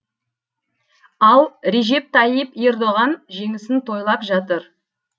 ал режеп тайип ердоған жеңісін тойлап жатыр